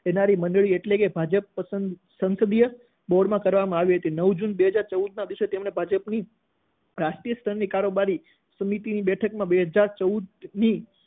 લેનારી મંડળી એટલે કે ભાજપ સંસદીય બોર્ડમાં કરવામાં આવી હતી. નવ જૂન બે હાજર ચૌદના દિવસે તેમને ભાજપની રાષ્ટ્રીય સ્તરની કારોબારી સમિતિની બેઠકમાં બે હાજર ચોદની